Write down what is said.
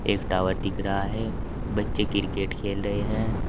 एक टावर दिख रहा है बच्चे क्रिकेट खेल रहे हैं।